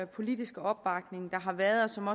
politiske opbakning der har været og som